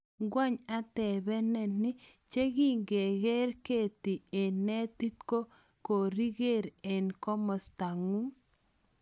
Kwang atepeng nii che kigeren keti en netit ko koriger en komostaku.